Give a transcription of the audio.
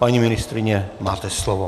Paní ministryně, máte slovo.